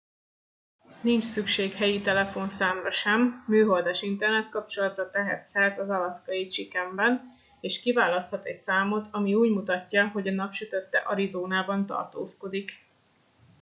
nincs szükség helyi telefonszámra sem műholdas internetkapcsolatra tehet szert az alaszkai chickenben és kiválaszthat egy számot ami úgy mutatja hogy a napsütötte arizónában tartózkodik